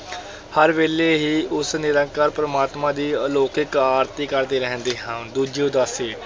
ਹਰ ਵੇਲੇ ਹੀ ਉਸ ਨਿਰੰਕਾਰ ਪਰਮਾਤਮਾ ਦੀ ਅਲੌਕਿਕ ਆਰਤੀ ਕਰਦੇ ਰਹਿੰਦੇ ਹਨ, ਦੂਜੀ ਉਦਾਸੀ,